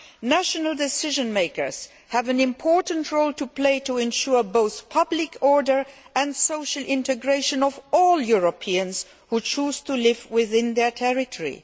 National decision makers have an important role to play to ensure both public order and the social integration of all Europeans who choose to live within their territory.